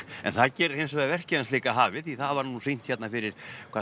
en það gerir hins vegar verkið hans líka hafið því það var nú sýnt hérna fyrir